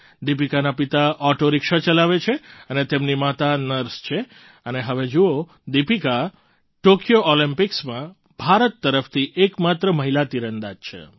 દીપિકાના પિતા auto rickshaw ચલાવે છે અને તેમની માતા નર્સ છે અને હવે જુઓ દીપિકા હવે ટૉક્યો ઑલમ્પિક્સમાં ભારત તરફથી એક માત્ર મહિલા તીરંદાજ છે